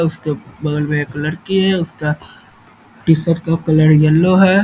उसके बगल में एक लड़की है उसका टी-शर्ट का कलर येलो है।